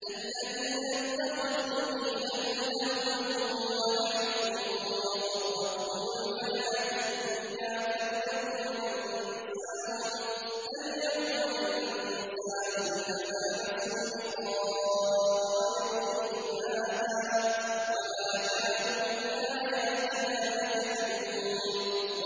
الَّذِينَ اتَّخَذُوا دِينَهُمْ لَهْوًا وَلَعِبًا وَغَرَّتْهُمُ الْحَيَاةُ الدُّنْيَا ۚ فَالْيَوْمَ نَنسَاهُمْ كَمَا نَسُوا لِقَاءَ يَوْمِهِمْ هَٰذَا وَمَا كَانُوا بِآيَاتِنَا يَجْحَدُونَ